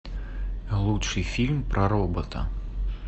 лучший фильм про робота